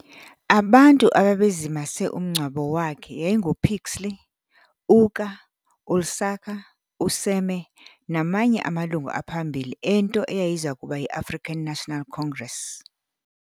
Abantu ababezimase umngwabo wakhe yayinguPixley uka uIsaka uSeme namanye amalungu aphambili ento eyayizakuba yi-African National Congress.